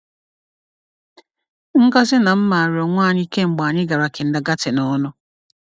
Ngozi na m maara onwe anyị kemgbe anyị gara kindergarten ọnụ.